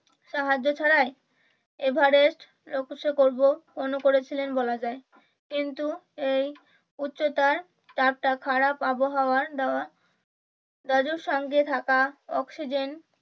সাহায্য ছাড়াই এভারেস্ট করব মনে করেছেন বলে যায়। কিন্তু এই উচ্চতায় একটা খারাপ আবহাওয়াই দেওয়া রাজুর সঙ্গে থাকা অক্সিজেন